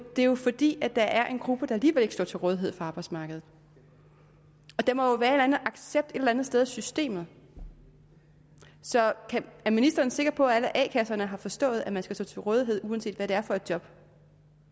det er jo fordi der er en gruppe der alligevel ikke står til rådighed for arbejdsmarkedet der må jo være en accept et eller andet sted i systemet så er ministeren sikker på at alle a kasserne har forstået at man skal stå til rådighed uanset hvad det er for et job